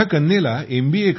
माझ्या कन्येला एम